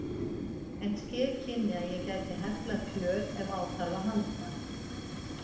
En ske kynni að ég gæti heflað fjöl ef á þarf að halda.